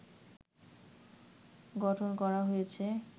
গঠন করা হয়েছে